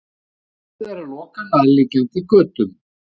Búið er að loka nærliggjandi götum